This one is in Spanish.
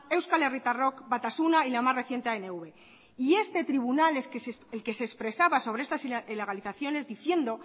euskal herritarrok batasuna y la más reciente anv y este tribunal el que se expresaba sobre estas ilegalizaciones diciendo